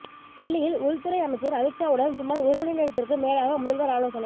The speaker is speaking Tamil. டெல்லியில் உள்துறை அமைச்சர் அமித்ஷாவுடன் சுமார் ஒரு மணிநேரத்திற்கு மேலாக முதல்வர் ஆலோசனை